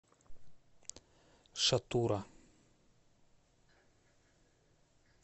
шатура